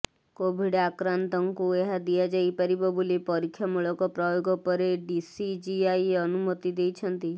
Covid ଆକ୍ରାନ୍ତଙ୍କୁ ଏହା ଦିଆଯାଇପାରିବ ବୋଲି ପରୀକ୍ଷାମୂଳକ ପ୍ରୟୋଗ ପରେ ଡିସିଜିଆଇ ଅନୁମତି ଦେଇଛନ୍ତି